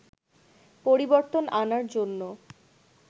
পরিবর্তন আনার জন্য